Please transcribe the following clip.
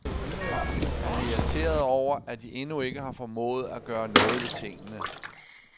Han er irriteret over, at de endnu ikke har formået at gøre noget ved tingene.